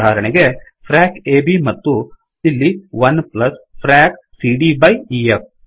ಉದಾಹರಣೆಗೆ frac frac ab ಮತ್ತು ಇಲ್ಲಿ 1 fracಫ್ರಾಕ್ ಸಿಡಿಯ byಬೈ ಇಎಫ್